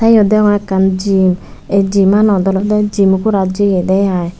te eyot degongge ekkan gym aye gymanot olode gym gorat jaye de ai.